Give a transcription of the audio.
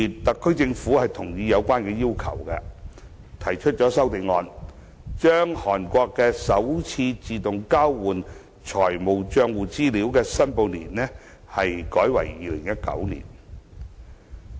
特區政府同意這項要求，提出了一項修正案，把韓國的首次自動交換資料的申報年改為2019年。